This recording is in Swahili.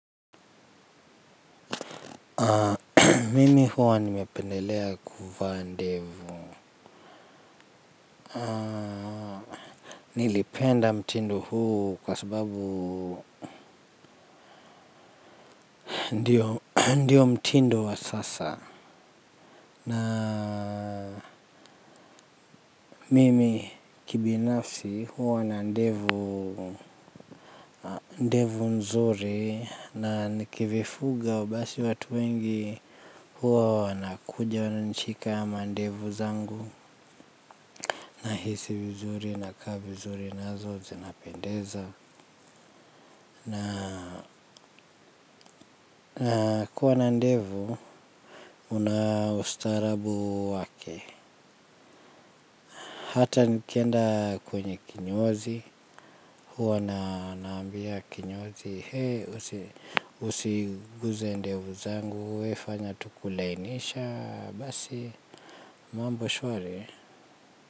Mimi huwa nimependelea kuvaa ndevu nilipenda mtindo huu kwa sababu ndio mtindo wa sasa na mimi kibinafsi huwa na ndevu mzuri na nikivifuga basi watu wengi huwa wanakuja wananishika mandevu zangu nahisi mzuri nakaa vizuri nazo zinapendeza na kuwa na ndevu una ustaarabu wake hata nikenda kwenye kinyozi, huwa naambia kinyozi He, usiguze ndevu zangu, we fanya tu kulainisha, basi mambo shwari.